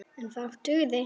En fátt dugði.